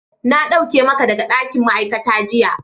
Na dauke maka daga dakin ma'aikata jiya.